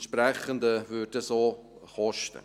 Entsprechend würde das auch kosten.